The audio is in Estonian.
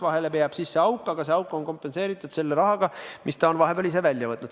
Vahele jääb sisse auk, aga see auk on kompenseeritud selle rahaga, mis ta on vahepeal ise välja võtnud.